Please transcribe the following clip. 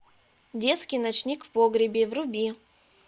детский ночник в погребе вруби